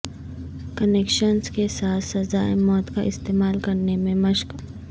connections کے ساتھ سزائے موت کا استعمال کرنے میں مشق